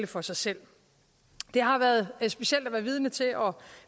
for sig selv det har været specielt at være vidne til og